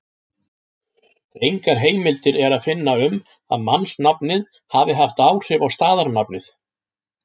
Engar heimildir er að finna um að mannsnafnið hafi haft áhrif á staðarnafnið.